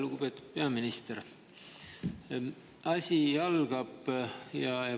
Lugupeetud peaminister!